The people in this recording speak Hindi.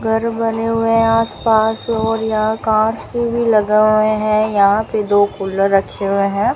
घर बने हुए हैं आस पास और यहां कांच के भी लगा हुए है यहां पे दो कूलर रखे हुए है।